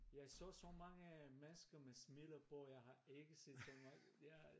Jeg så så mange mennesker med smilet på jeg ikke set så mange jeg